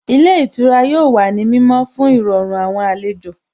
Ilé ìtura yóò wà ní mímọ́ fún Ìrọ̀rùn àwọn àlejò